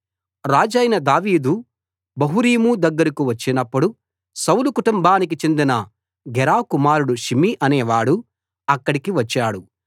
రాజైన దావీదు బహూరీము దగ్గర కు వచ్చినప్పుడు సౌలు కుటుంబానికి చెందిన గెరా కుమారుడు షిమీ అనేవాడు అక్కడికి వచ్చాడు